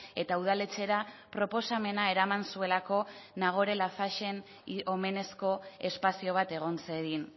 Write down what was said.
eta udaletxera proposamena eraman zuelako nagore laffagen omenezko espazio bat egon zedin